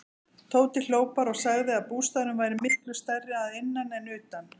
Tóti hló bara og sagði að bústaðurinn væri miklu stærri að innan en utan.